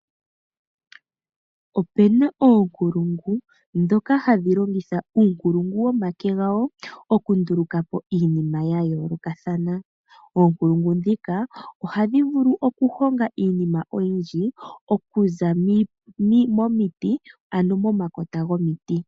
Opena oonkulungu, dhoka ha dhi longitha uunkulungu womake gawo oku nduluka po iinima ya yoolokathana. Oonkulungu dhika oha dhi vulu okuhonga iinima, oyindji, okuza momiti, ano momakota gomiti.